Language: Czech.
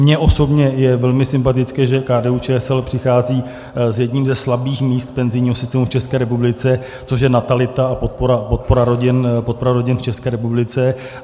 Mně osobně je velmi sympatické, že KDU-ČSL přichází s jedním ze slabých míst penzijního systému v České republice, což je natalita a podpora rodin v České republice.